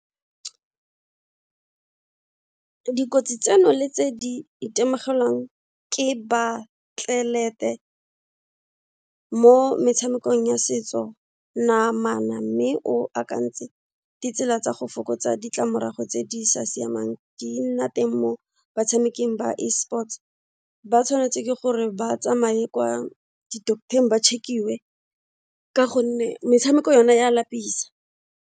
Dikotsi tseno le tse di itemogelang ke baatlelete mo metshamekong ya setso namana mme o akantse ditsela tsa go fokotsa ditlamorago tse di sa siamang di nna teng mo batshameking ba e-sports, ba tshwanetse ke gore ba tsamaye kwa di-doctor-ng ba check-iwe ka gonne metshameko yona ya lapisa.